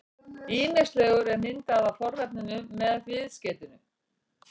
Ýmislegur er myndað af fornafninu með viðskeytinu-